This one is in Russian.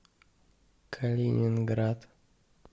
калининград